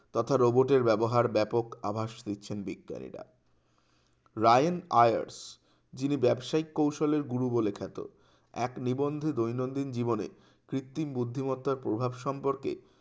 তথা রোবটের ব্যবহার ব্যাপক আভাস দিচ্ছেন বিজ্ঞানীরা রায়েন আয়ার যিনি ব্যবসায়ী কৌশলের গুরু বলে খেত এক নিবন্ধ দৈনন্দিন জীবনে কৃত্রিম বুদ্ধিমত্তার প্রভাব সম্পর্কে